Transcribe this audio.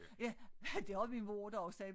Ja det har min mor da også selv